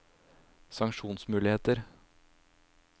sanksjonsmuligheter